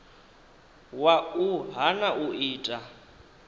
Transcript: wa u hana u ita